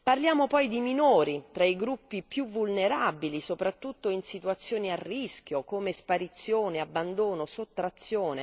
Parliamo poi di minori, tra i gruppi più vulnerabili, soprattutto in situazioni a rischio come sparizione, abbandono, sottrazione.